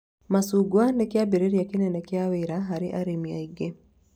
Macungwa nĩ kĩambĩrĩria kĩnene kĩa wĩra harĩ arĩmi aingĩ